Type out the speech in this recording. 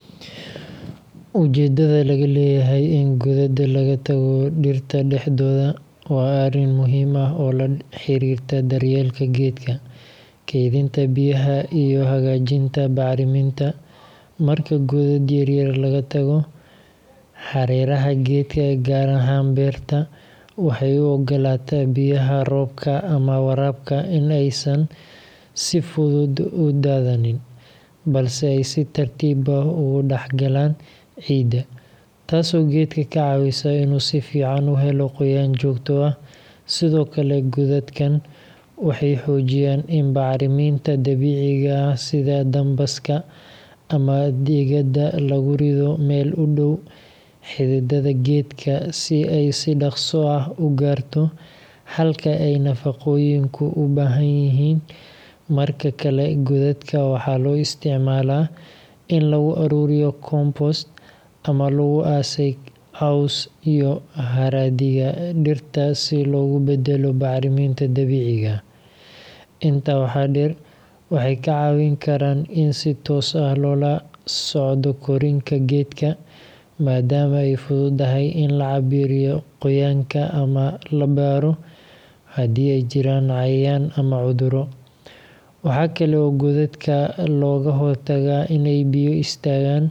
Ujeeddada laga leeyahay in godad laga tago dhirta dhexdooda waa arrin muhiim ah oo la xiriirta daryeelka geedka, kaydinta biyaha, iyo hagaajinta bacriminta. Marka godad yaryar laga tago hareeraha geedka, gaar ahaan beerta, waxay u oggolaataa biyaha roobka ama waraabka in aysan si fudud u daadanin, balse ay si tartiib ah ugu dhexgalaan ciidda, taasoo geedka ka caawisa inuu si fiican u helo qoyaan joogto ah. Sidoo kale, godadkan waxay xoojiyaan in bacriminta dabiiciga ah sida dambaska ama digada lagu rido meel u dhow xididdada geedka si ay si dhakhso ah u gaarto halka ay nafaqooyinku u baahan yihiin. Marka kale, godadka waxaa loo isticmaalaa in lagu aruuriyo compost ama lagu aasay caws iyo haraadiga dhirta si loogu beddelo bacriminta dabiiciga ah. Intaa waxaa dheer, waxay kaa caawin karaan in si toos ah loola socdo korriinka geedka, maadaama ay fududahay in la cabbiro qoyaanka ama la baaro haddii ay jiraan cayayaan ama cudurro. Waxaa kale oo godadka looga hortagaa inay biyo istaagaan.